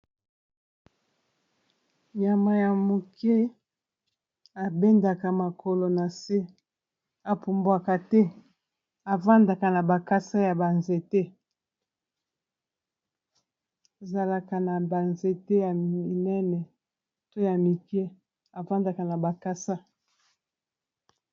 nyama ya moke abendaka makolo na se epumbwaka te evandaka na bakasa ya banzete zalaka na banzete ya minene to ya mipie evandaka na bakasa